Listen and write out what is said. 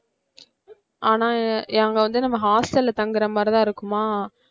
ஆனா அங்க வந்து நம்ம hostel தங்கற மாதிரிதான் இருக்குமா